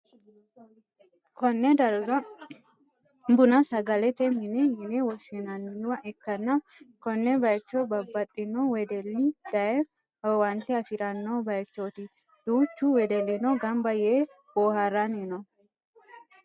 konne darga bununna sagalete mine yine woshshinanniwa ikkanna, konne bayicho babbaxxino wedelli daye owaante afi'ranno bayichooti, duuchu wedellino gamba yee boohaaranni no.